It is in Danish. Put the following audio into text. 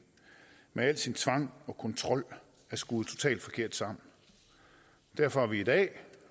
med al sin tvang og kontrol er skruet totalt forkert sammen derfor har vi i dag